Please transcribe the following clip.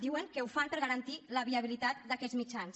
diuen que ho fan per garantir la viabilitat d’aquests mitjans